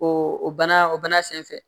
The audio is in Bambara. O bana o bana sen fɛ